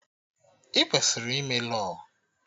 Ị kwesịrị ime Lọọ!